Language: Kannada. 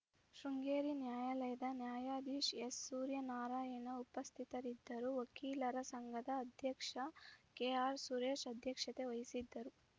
ಶೃಂಗೇರಿ ನ್ಯಾಯಾಲಯದ ನ್ಯಾಯಾಧೀಶ ಎಸ್‌ಸೂರ್ಯನಾರಾಯಣ ಉಪಸ್ಥಿತರಿದ್ದರು ವಕೀಲರ ಸಂಘದ ಅಧ್ಯಕ್ಷ ಕೆಆರ್‌ ಸುರೇಶ್‌ ಅಧ್ಯಕ್ಷತೆ ವಹಿಸಿದ್ದರು